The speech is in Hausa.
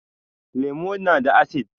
Lemu na da asid